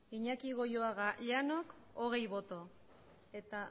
iñaki goioaga llanok hogei boto eta